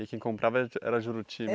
E quem comprava era era Juruti? É